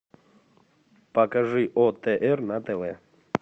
покажи отр на тв